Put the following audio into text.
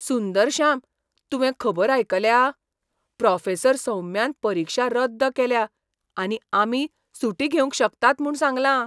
सुंदरश्याम, तुवें खबर आयकल्या? प्रॉफेसर सौम्यान परिक्षा रद्द केल्या आनी आमी सुटी घेवंक शकतात म्हूण सांगलां!